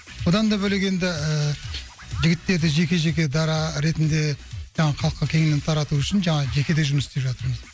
одан да бөлек енді ііі жігіттерді жеке жеке дара ретінде жаңағы халыққа кеңінен тарату үшін жаңағы жеке де жұмыс істеп жатырмыз